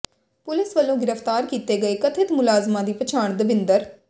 police ਵੱਲੋਂ ਗਿ੍ਫ਼ਤਾਰ ਕੀਤੇ ਗਏ ਕਥਿਤ ਮੁਲਜ਼ਮਾਂ ਦੀ ਪਛਾਣ ਦਵਿੰਦਰ